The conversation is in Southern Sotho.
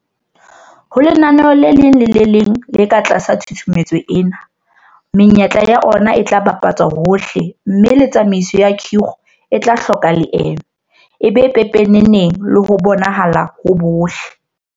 Ho lenaneo le leng le le leng le ka tlasa tshusumetso ena, menyetla ya ona e tla bapa tswa hohle mme le tsamaiso ya khiro e tla hloka leeme, e be pepeneneng le ho bonahala ho bohle.